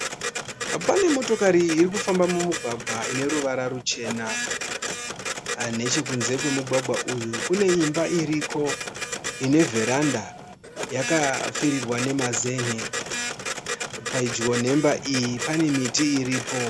Pane motokari irikufamba mumugwagwa ine ruvara ruchena. Nechekunze kwemugwagwa uyu kune imba iriko ine vheranda. Yakapfirirwa nemazenge. Pedyo nemba iyi pane miti iripo